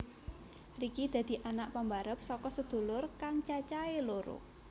Ricky dadi anak pambarep saka sedulur kang cacahé loro